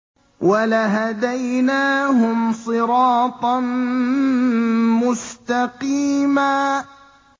وَلَهَدَيْنَاهُمْ صِرَاطًا مُّسْتَقِيمًا